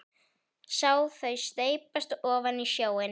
Sá þau steypast ofan í sjóinn.